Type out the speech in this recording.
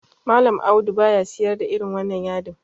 Mallam Audu baya sayar da irin wannan yadin.